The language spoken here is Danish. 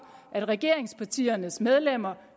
at regeringspartiernes medlemmer